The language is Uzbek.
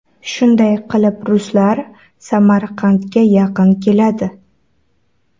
Shunday qilib ruslar Samarqandga yaqin keladi.